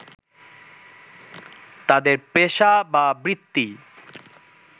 তাদের পেশা বা বৃত্তি